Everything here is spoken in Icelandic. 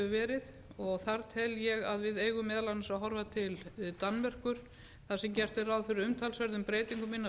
verið þar tel ég að við eigum meðal annars að horfa til danmerkur þar sem gert er ráð fyrir umtalsverðum breytingum innan